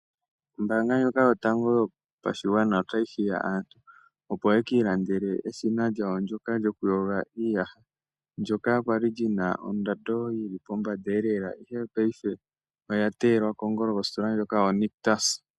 Ombanga ndjoka yotango yopashigwana otayi hiya aantu opo ye ki ilandele eshina lyawo ndyoka lyokuyoga iiyaha ndyoka kwali li na ondando yi li pombanda lela ashike ngaashingeyi oya teyelwa kongolo kositola yoNictus.